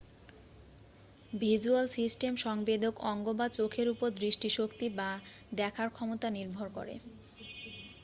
visual system সংবেদক অঙ্গ বা চোখের উপর দৃষ্টিশক্তি বা দেখার ক্ষমতা নির্ভর করে